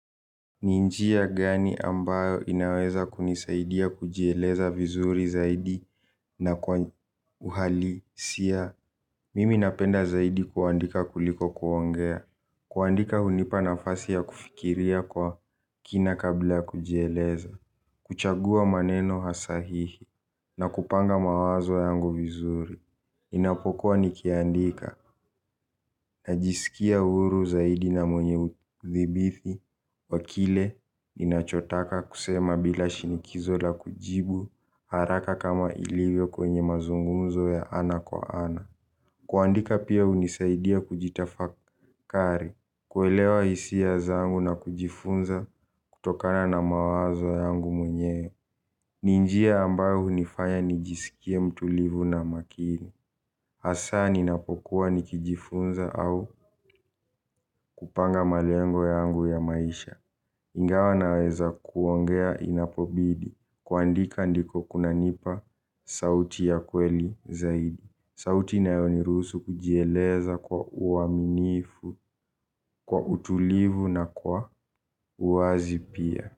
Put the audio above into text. Ni njia gani ambayo inaweza kunisaidia kujieleza vizuri zaidi na kwa uhalisia. Mimi napenda zaidi kuandika kuliko kuongea. Kuandika hunipa nafasi ya kufikiria kwa kina kabla ya kujieleza. Kuchagua maneno hasahihi na kupanga mawazo yangu vizuri ninapokua nikiandika najisikia huru zaidi na mwenye udhibithi wa kile ninachotaka kusema bila shinikizo la kujibu haraka kama ilivyo kwenye mazungunzo ya ana kwa ana. Kuandika pia hunisaidia kujitafakari. Kuelewa hisia zangu na kujifunza kutokana na mawazo yangu mwenye. Ni njia ambayo hunifaya nijisikie mtulivu na makini. Hasa ninapokuwa nikijifunza au kupanga malengo yangu ya maisha. Ingawa naweza kuongea inapobidi kuandika ndiko kunanipa sauti ya kweli zaidi. Sauti inayoniruhusu kujieleza kwa uaminifu, kwa utulivu na kwa uwazi pia.